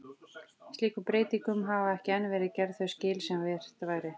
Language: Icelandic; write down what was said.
Slíkum breytingum hafa ekki enn verið gerð þau skil sem vert væri.